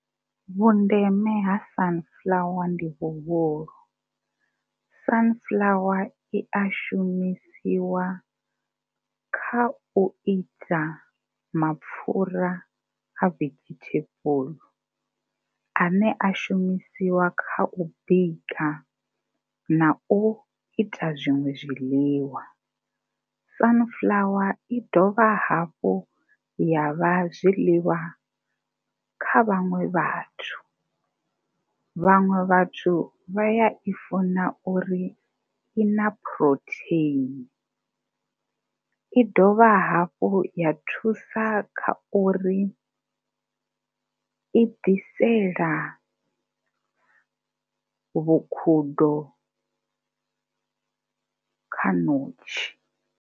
Vhundeme ha Sunflower ndi vhuhulu, Sunflower i a shumisiwa kha u ita mapfhura a vegetable ane a shumisiwa kha u bika na u ita zwiṅwe zwiḽiwa. Sunflower i dovha hafhu ya vha zwiḽiwa kha vhaṅwe vhathu. Vhaṅwe vhathu vha ya i funa uri i na phurotheini, i dovha hafhu ya thusa kha uri i ḓisela vhukhudo kha ṋotshi.